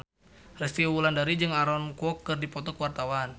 Resty Wulandari jeung Aaron Kwok keur dipoto ku wartawan